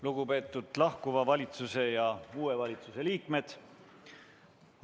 Lugupeetud lahkuva valitsuse ja uue valitsuse liikmed!